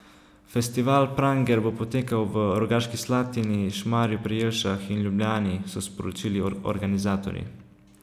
Festival Pranger bo potekal v Rogaški Slatini, Šmarju pri Jelšah in Ljubljani, so sporočili organizatorji.